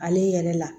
Ale yɛrɛ la